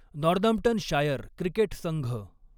Northamptonshire cricket Sangh